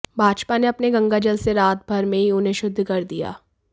भाजपा ने अपने गंगाजल से रात भर में ही उन्हें शुद्ध कर दिया